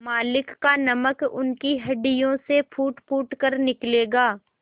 मालिक का नमक उनकी हड्डियों से फूटफूट कर निकलेगा